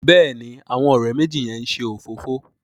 Béèni àwọn òré méjì yén ṣe òfófó.